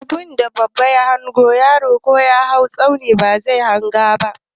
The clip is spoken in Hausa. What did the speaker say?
Abunda babba ya hango, yaro ko ya hau tsauni bazai hanga ba.